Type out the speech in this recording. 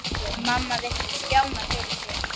Mamma virti Stjána fyrir sér.